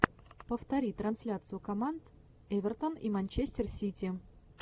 повтори трансляцию команд эвертон и манчестер сити